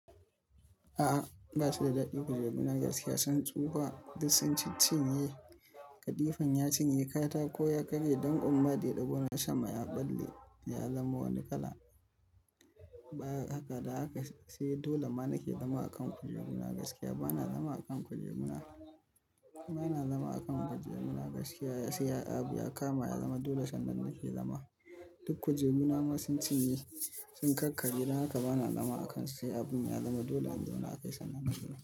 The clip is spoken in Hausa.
A'a, ba su da daɗi kujeru na gaskiya. Sun tsufa duk sun ciccinye. Kadifan ya cinye katako ya karye don kuma deɗebuna sama ya ɓalle ya zama wani kala. Ba haka da haka sai dole ma nake zama a kan kujeru na gaskiya. Ba na zama a kan kujeru na. Ba na zama a kan kujeru na gaskiya sai abu ya kama ya zama dole sannan nake zama. Duk kujeru na ma sun cinye. Sun kakkarye don haka ba na zama a kan su sai abu ya zama dole a kan su sannan na zauna.